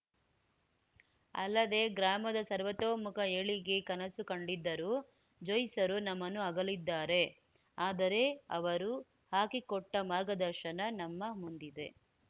ಅಲ್ಲದೇ ಗ್ರಾಮದ ಸರ್ವತೋಮುಖ ಏಳಿಗೆ ಕನಸು ಕಂಡಿದ್ದರು ಜ್ಯೋಯ್ಸರು ನಮ್ಮನ್ನು ಅಗಲಿದ್ದಾರೆ ಆದರೆ ಅವರು ಹಾಕಿಕೊಟ್ಟಮಾರ್ಗದರ್ಶನ ನಮ್ಮ ಮುಂದಿದೆ